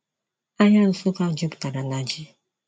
Ahịa Nsukka juputara na ji.